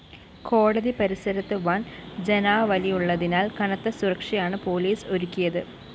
കോടതി പരിസരത്ത് വൻ ജനാവലിയുള്ളതിനാൽ കനത്ത സുരക്ഷയാണ് പൊലീസ് ഒരുക്കിയത്